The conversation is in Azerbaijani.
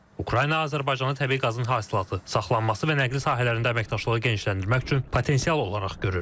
Ukrayna Azərbaycanı təbii qazın hasilatı, saxlanması və nəqli sahələrində əməkdaşlığı genişləndirmək üçün potensial olaraq görür.